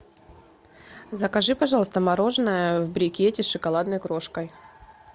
закажи пожалуйста мороженое в брикете с шоколадной крошкой